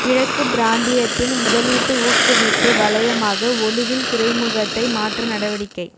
கிழக்கு பிராந்தியத்தின் முதலீட்டு ஊக்குவிப்பு வலயமாக ஒலுவில் துறைமுகத்தை மாற்ற நடவடிக்கை